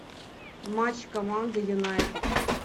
матч команды юнайтед